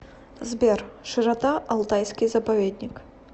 сбер широта алтайский заповедник